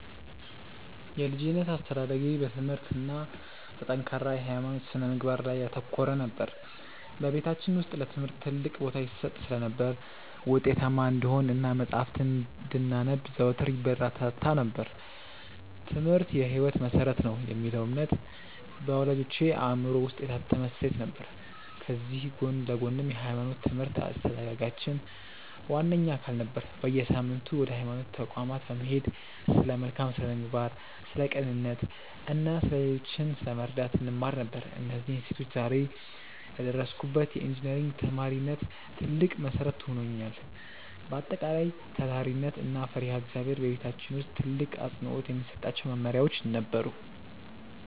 የልጅነት አስተዳደጌ በትምህርት እና በጠንካራ የሃይማኖት ስነ-ምግባር ላይ ያተኮረ ነበር። በቤታችን ውስጥ ለትምህርት ትልቅ ቦታ ይሰጥ ስለነበር፣ ውጤታማ እንድንሆን እና መጽሐፍትን እንድናነብ ዘወትር ይበረታታ ነበር፤ "ትምህርት የህይወት መሰረት ነው" የሚለው እምነት በወላጆቼ አእምሮ ውስጥ የታተመ እሴት ነበር። ከዚህ ጎን ለጎንም የሃይማኖት ትምህርት የአስተዳደጋችን ዋነኛ አካል ነበር። በየሳምንቱ ወደ ሃይማኖት ተቋማት በመሄድ ስለ መልካም ስነ-ምግባር፣ ስለ ቅንነት እና ሌሎችን ስለመርዳት እንማር ነበር። እነዚህ እሴቶች ዛሬ ለደረስኩበት የኢንጂነሪንግ ተማሪነት ትልቅ መሰረት ሆነውኛል። በአጠቃላይ፣ ታታሪነት እና ፈሪሃ እግዚአብሔር በቤታችን ውስጥ ትልቅ አፅንዖት የሚሰጣቸው መመሪያዎቻችን ነበሩ።